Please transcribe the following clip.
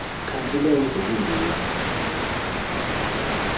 xhadi lomzi lindim